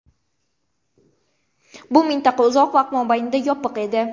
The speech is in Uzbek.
Bu mintaqa uzoq vaqt mobaynida yopiq edi.